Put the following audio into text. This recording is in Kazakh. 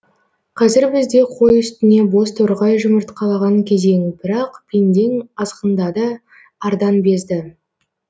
қазір бізде қой үстіне бозторғай жұмыртқалаған кезең бірақ пендең азғындады ардан безді